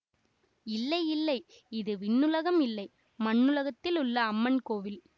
இல்லை இல்லை இது விண்ணுலகம் இல்லை மண்ணுலகத்திலுள்ள அம்மன் கோவில்